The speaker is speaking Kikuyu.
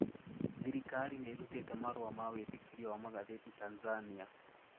Thirikari niirutite marũa ma wiitikirio wa magatheti Tanzania.